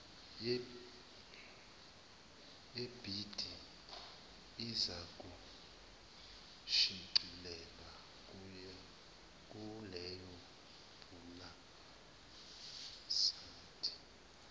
yebhidi izakushicilelwa kuwebhusayidi